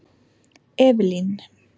Evelyn